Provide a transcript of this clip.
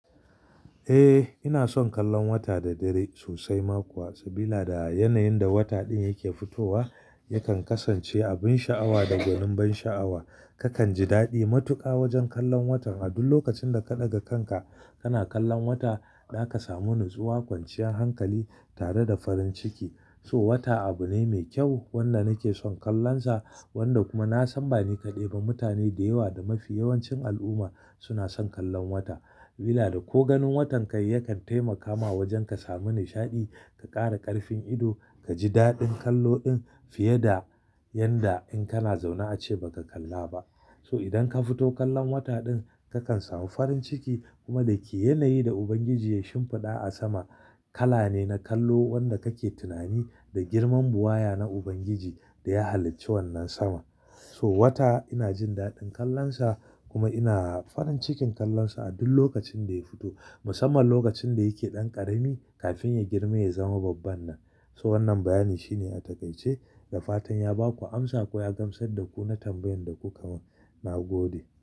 Eh, ina son kallon wata da dare sosai ma kuwa. Saboda yanayin da wata ɗin yake fitowa yakan kasance akwai sha'awa da ganin ban sha'awa. Kakan ji daɗi matuƙa wajen kallon watan. A duk lokacin da ka ɗaga kanka kana kallon wata, za ka samu natsuwa, kwanciyar hankali tare da farin ciki. So wata abu ne mai kyau wanda nake son kallonsa wanda kuma na san bani kaɗai ba. Mutane da yawa da mafi yawancin al'umma suna son kallon wata. Saboda ko ganin watan kai yakan taimakawa wajen ka samu nishaɗi, ka ƙara ƙarfin ido, ka ji daɗin kallo ɗin fiye da yanda in kana zaune ace ba ka kalla ba. So idan ka fito kallon wata ɗin, kakan samu farin ciki kuma da ke yanayi da Ubangiji ya shimfiɗa a sama kala ne na kallo wanda kake tunani da girman buwaya na Ubangiji da ya halicci wannan saman. So wata ina jin daɗin kallonsa kuma ina farin cikin kallonsa a duk lokacin da ya fito. Musamman lokacin da yake ɗan ƙarami kafin ya girma ya zama babban nan. So wannan bayanin shine a takaice da fatan ya baku amsa ko ya gamsar da ku na tambayar da ku kamin nagode.